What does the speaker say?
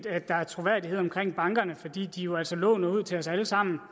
at der er troværdighed omkring bankerne fordi de jo altså låner ud til os alle sammen